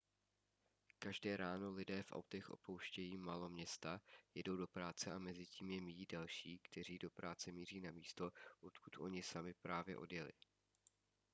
každé ráno lidé v autech opouštějí maloměsta jedou do práce a mezitím je míjí další kteří do práce míří na místo odkud oni sami právě odjeli